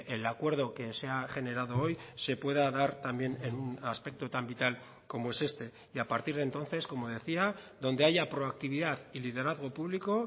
el acuerdo que se ha generado hoy se pueda dar también en un aspecto tan vital como es este y a partir de entonces como decía donde haya proactividad y liderazgo público